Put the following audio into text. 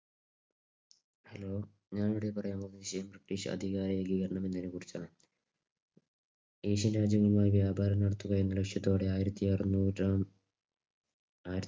Hello ഞാനിവിടെ പറയാൻ പോകുന്നത് Fish അധികാരം എന്നതിനെ കുറിച്ചാണ്. ഏഷ്യൻ രാജ്യങ്ങളുമായി വ്യാപാരം നടത്തുക എന്നലക്ഷ്യത്തോടെ ആയിരത്തിഅറുനൂറാം